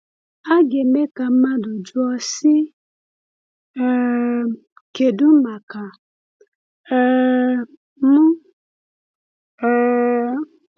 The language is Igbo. A ga - eme ka mmadụ jụọ, sị: ‘ um Kedu maka um m ?’ um